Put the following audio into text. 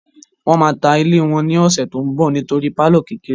Wọ́n máa ta ilé wọn ní ọ̀sẹ̀ tó n bọ̀ nítorí pálọ̀ kékeré